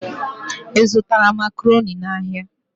Ị zụtara Makaroni n'ahịa?